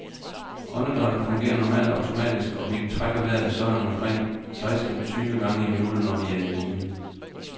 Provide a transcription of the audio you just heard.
Åndedrættet fungerer normalt automatisk, og vi trækker vejret sådan omkring seksten tyve gange i minuttet, når vi er i hvile.